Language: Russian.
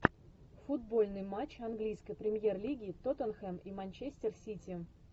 футбольный матч английской премьер лиги тоттенхэм и манчестер сити